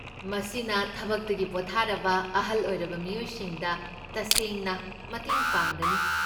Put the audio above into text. ꯃꯁꯤꯅ ꯊꯕꯛꯇꯒꯤ ꯄꯣꯊꯥꯔꯕ ꯑꯍꯜ ꯑꯣꯏꯔꯕ ꯃꯤꯌꯣꯏꯁꯤꯡꯗ ꯇꯁꯦꯡꯅ ꯃꯇꯦꯡ ꯄꯥꯡꯒꯅꯤ꯫